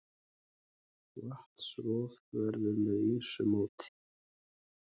Vatnsrof verður með ýmsu móti.